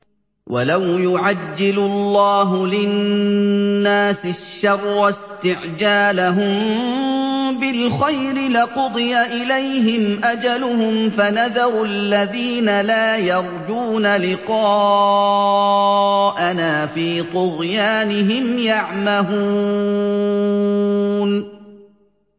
۞ وَلَوْ يُعَجِّلُ اللَّهُ لِلنَّاسِ الشَّرَّ اسْتِعْجَالَهُم بِالْخَيْرِ لَقُضِيَ إِلَيْهِمْ أَجَلُهُمْ ۖ فَنَذَرُ الَّذِينَ لَا يَرْجُونَ لِقَاءَنَا فِي طُغْيَانِهِمْ يَعْمَهُونَ